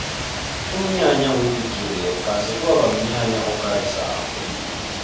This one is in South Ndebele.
umnyanya webhigiri yephasi kwaba mnyanya okarisako